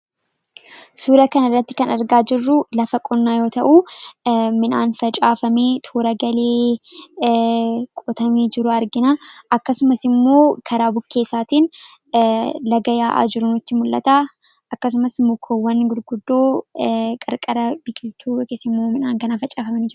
Suura kan irratti kan argaa jirruu lafa qonnaa yoo ta'uu midhaan facaafamii toora galee qotamee jiru argina, akkasumas immoo karaa bukkee isaatiin laga yaa'aa jiran nituu mul'ataa akkasumas mukoowwan gurguddoo qarqara biqiltuu yookis immoo midhaan kanaa facaafamani.